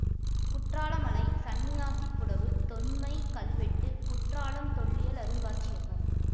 குற்றாலமலை சன்னியாசிப் புடவு தொன்மைக் கல்வெட்டு குற்றாலம் தொல்லியல் அருங்காட்சியகம்